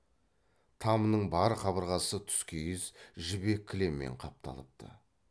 тамның бар қабырғасы тұскиіз жібек кілеммен қапталыпты